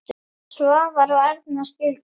Svavar og Erna skildu.